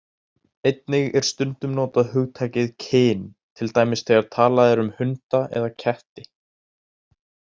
Einnig er stundum notað hugtakið kyn, til dæmis þegar talað er um hunda eða ketti.